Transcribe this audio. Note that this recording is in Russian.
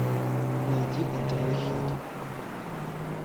найди нтв хит